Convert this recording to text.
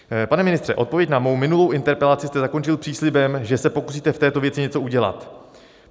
Pane ministře, odpověď na mou minulou interpelaci jste zakončil příslibem, že se pokusíte v této věci něco udělat.